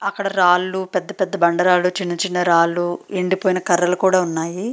అక్కడ రాళ్ళు పెద్ద పెద్ద బండరాళ్ళు చిన్న చిన్న రాళ్ళు ఎండిపోయిన కర్రలు కూడా ఉన్నాయి.